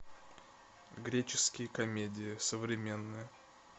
греческие комедии современные